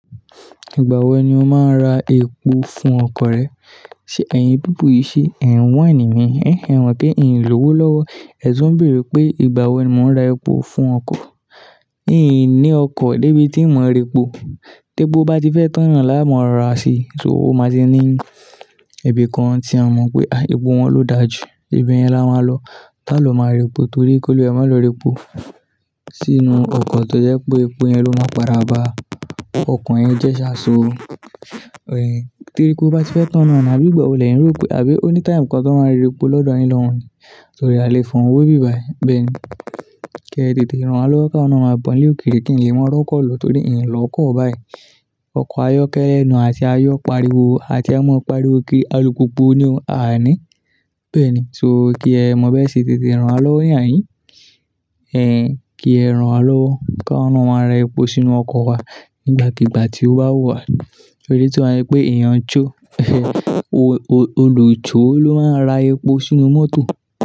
Ìgbà wo ni o máa ra epo fún ọkọ̀ rẹ? Ṣé ẹ̀yin pípu yíi, ṣe ẹ̀ n wáìnì mi, ẹ̀hn, e mo pé n lówó lọ́wọ́. Ẹ̀tuń bèrè pé ìgbà wo ni mo ń ra epo fún ọkọ̀. N ní ọkọ̀ débi tí n mọ̀ repo. Tepi bá ti fẹ́ tán náà láà mo ra si, so ó máa ti ní ibi kan tí a mọ̀ pé, àa, epo wọn ló dà jù. Ibe yẹn la máa lọ. Tá ló máa repo torí kí olúwa re máa lọ repo funfun sínú ọkọ̀ tó jẹ́ pé epo yẹn ló máa páda bàa ọkọ̀ yẹn jẹ́ ṣaṣọ. Ẹ̀hn, tí epó bá ti fẹ́ tán náà ni àbí ìgbà wo lẹyiń rò pé àbí o ní taimu kan ti won máa repo lọ́dọ̀ yin lọ́hun ní. Torí aa lè fohun we ibi báyìí. Bẹ́ẹ̀ ni. Kí ẹ tètè rán wa lọ́wọ́, káwa náà máa bọ́ ní ilé òkèrè kí n lè mọ rọkọ̀ lo torí n lọ́kọ̀ báyìí. Ọkọ̀ ayọ́kẹ́lẹ́ ni àti ayọ́ pariwo àti a mọ pariwo kiri alùpùpù ni o, aa ní. Bẹ́ẹ̀ ni, so kí ẹ mọ̀ ọ́n bẹ́ẹ̀ ṣe tètè rán wa lọ́wọ́ ní àhíń. Ẹ̀hn kí ẹ rán wa lọ́wọ́, kawa náà ma ra epo sínú ọkọ̀ wa nígbàkígbà tí ó bá wù wà. Torí tii ba ṣe pé eeyàn "cho", "olucho" ló máa ń ra epo sínú mọ́tò.